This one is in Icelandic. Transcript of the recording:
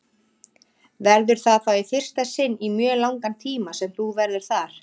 Verður það þá í fyrsta sinn í mjög langan tíma sem þú verður þar?